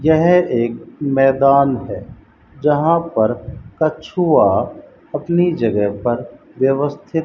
यह एक मैदान है जहां पर कछुआ अपनी जगह पर व्यवस्थित --